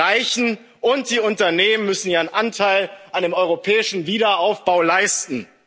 Bevölkerung. Die Reichen und die Unternehmen müssen ihren Anteil an dem europäischen Wiederaufbau